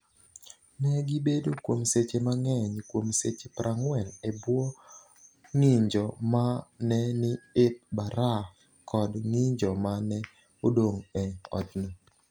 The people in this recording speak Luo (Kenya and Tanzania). Ne gibedo kuom seche mang’eny kuom seche 40 e bwo ng’injo ma ne ni e baraf kod ng’injo ma ne odong’ e otno.